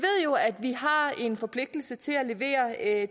jo at vi har en forpligtelse til at